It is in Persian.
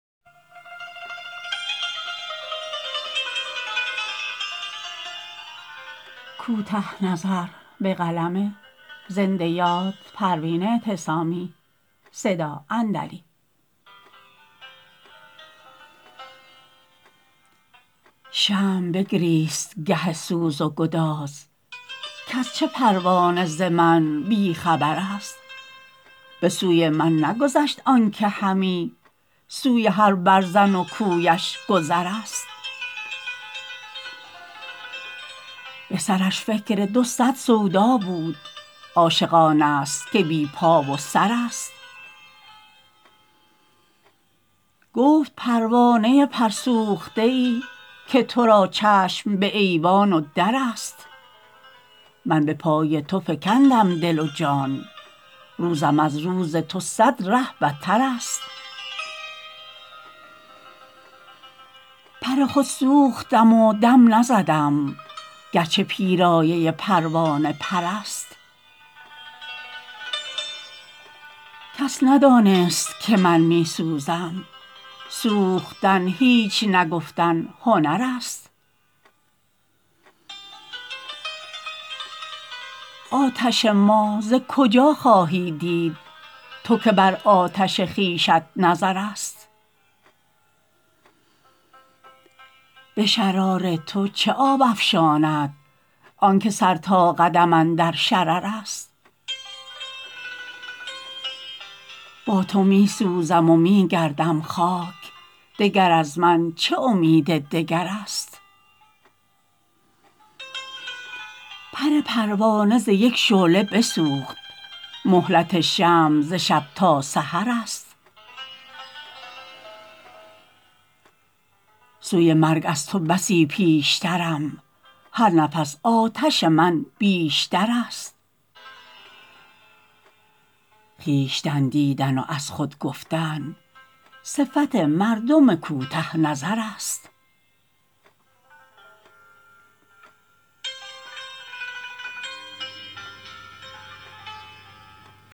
شمع بگریست گه سوز و گداز کاز چه پروانه ز من بیخبر است بسوی من نگذشت آنکه همی سوی هر برزن و کویش گذر است بسرش فکر دو صد سودا بود عاشق آنست که بی پا و سر است گفت پروانه پر سوخته ای که ترا چشم بایوان و در است من بپای تو فکندم دل و جان روزم از روز تو صد ره بتر است پر خود سوختم و دم نزدم گرچه پیرایه پروانه پر است کس ندانست که من میسوزم سوختن هیچ نگفتن هنر است آتش ما ز کجا خواهی دید تو که بر آتش خویشت نظر است به شرار تو چه آب افشاند آنکه سر تا قدم اندر شرر است با تو میسوزم و میگردم خاک دگر از من چه امید دگر است پر پروانه ز یک شعله بسوخت مهلت شمع ز شب تا سحر است سوی مرگ از تو بسی پیشترم هر نفس آتش من بیشتر است خویشتن دیدن و از خود گفتن صفت مردم کوته نظر است